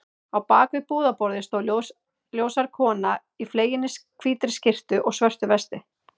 Á bak við búðarborðið stóð ljóshærð kona í fleginni hvítri skyrtu og svörtu vesti.